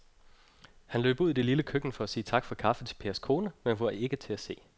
Han løb ud i det lille køkken for at sige tak for kaffe til Pers kone, men hun var ikke til at se.